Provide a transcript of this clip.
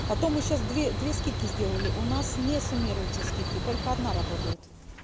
а то мы сейчас две две скидки сделали у нас не суммируются скидки только одна работает